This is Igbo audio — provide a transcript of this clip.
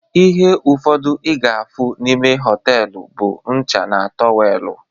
Ihe ụfọdụ ị ga-afụ n'ime họtelu bụ ncha na tọwelu